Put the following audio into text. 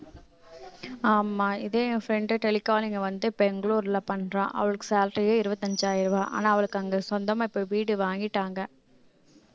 ஆமா இதே என் friend tele calling வந்துட்டு பெங்களூர்ல பண்றா அவளுக்கு salary யே இருபத்தஞ்சாயிரம் ரூபாய் ஆனா அவளுக்கு அங்க சொந்தமா இப்ப வீடு வாங்கிட்டாங்க